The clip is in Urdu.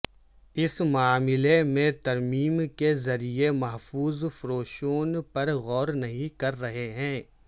اس معاملے میں ترمیم کے ذریعہ محفوظ فروشوں پر غور نہیں کر رہے ہیں